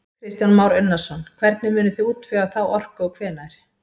Kristján Már Unnarsson: Hvernig munið þið útvega þá orku og hvenær?